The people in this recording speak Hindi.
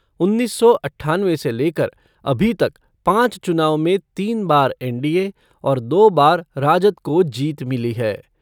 उन्नीस सौ अट्ठानवे से लेकर अभी तक पाँच चुनाव में तीन बार एनडीए और दो बार राजद को जीत मिली है।